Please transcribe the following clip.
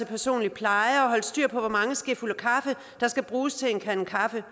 personlige pleje holde styr på hvor mange skefulde kaffe der skal bruges til en kande kaffe